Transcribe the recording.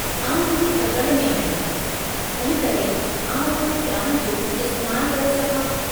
आउं थोरी तकड़ि में आहियां तंहिं करे आऊं कुझु ॼाण जो इस्तैमालु करे सघां।